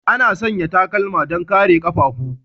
Ana sanya takalma don kare ƙafafu.